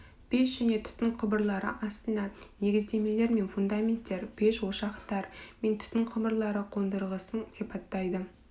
пеш және түтін құбырлары астына негіздемелер мен фундаменттер пеш ошақтар мен түтін құбырлары қондырғысын сипаттайды